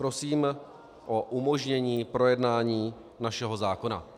Prosím o umožnění projednání našeho zákona.